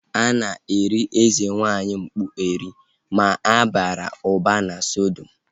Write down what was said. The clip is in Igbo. A na-eri eze nwaanyị mkpu eri (Aku) ma ha bara ụba na sodium